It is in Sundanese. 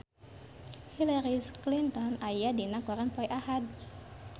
Hillary Clinton aya dina koran poe Ahad